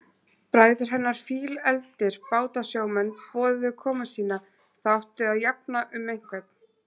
Bræður hennar, fílefldir bátasjómenn, boðuðu komu sína, það átti að jafna um einhvern.